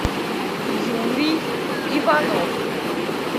юрий иванов